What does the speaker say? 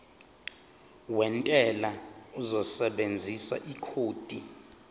wentela uzosebenzisa ikhodi